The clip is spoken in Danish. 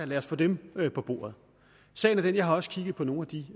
lad os få dem på bordet sagen er den jeg har også kigget på nogle af de